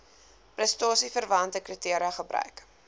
prestasieverwante kriteria gebruik